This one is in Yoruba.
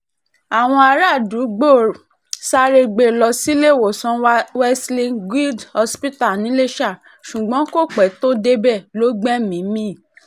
àwọn aráàdúgbò sáré gbé e lọ síléèwòsàn wesley guild hospitalcs] niléṣà ṣùgbọ́n kò pẹ́ tó débẹ̀ lọ gbẹ̀mí-ín mi